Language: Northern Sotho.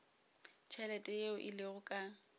tšhelete yeo e lego ka